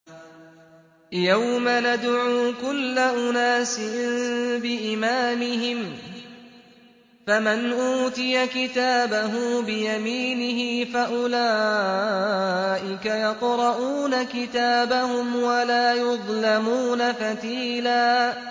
يَوْمَ نَدْعُو كُلَّ أُنَاسٍ بِإِمَامِهِمْ ۖ فَمَنْ أُوتِيَ كِتَابَهُ بِيَمِينِهِ فَأُولَٰئِكَ يَقْرَءُونَ كِتَابَهُمْ وَلَا يُظْلَمُونَ فَتِيلًا